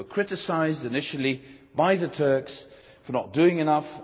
We were criticised initially by the Turks for not doing enough.